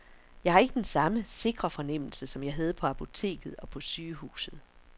Jeg har ikke den samme sikre fornemmelse, som jeg havde på apoteket og på sygehuset.